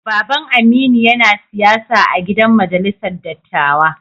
Baba'n Aminu yana siyasa a'gidan majalisar dattawa.